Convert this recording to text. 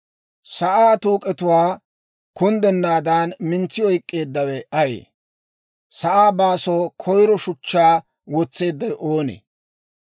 Sa'aa tuuk'etuwaa kunddennaadan mintsi oyk'k'eeddawe ayee? Sa'aa baasoo koyiro shuchchaa wotseeddawe oonee?